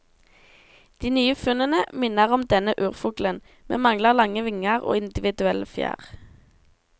De nye funnene minner om denne urfuglen, men mangler lange vinger og individuelle fjær.